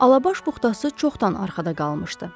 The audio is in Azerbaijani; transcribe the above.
Alabaş buxtası çoxdan arxada qalmışdı.